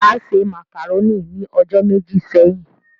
Ìyá se màkàrónì ni ọjọ́ méjì sẹ́yìn